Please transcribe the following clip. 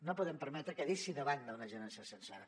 no podem permetre que deixi de banda una generació sencera